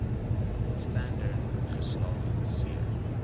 standerd geslaag c